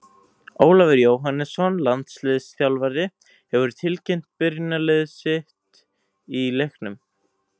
Ólafur Jóhannesson, landsliðsþjálfari, hefur tilkynnt byrjunarlið sitt í leiknum.